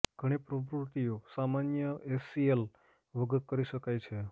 ઘણી પ્રવૃત્તિઓ સામાન્ય એસીએલ વગર કરી શકાય છે